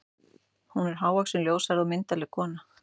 Hún er hávaxin, ljóshærð og myndarleg kona.